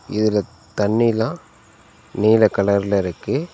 இதுல தண்ணிலா நீல கலர்ல இருக்கு.